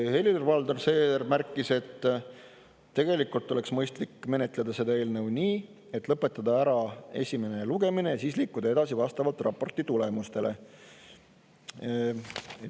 Helir-Valdor Seeder märkis, et tegelikult oleks mõistlik menetleda seda eelnõu nii, et lõpetada ära esimene lugemine ja siis liikuda edasi vastavalt raporti tulemustele.